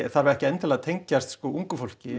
þarf ekki endilega að tengjast ungu fólki